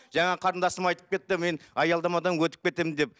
жаңа қарындасым айтып кетті мен аялдамадан өтіп кетемін деп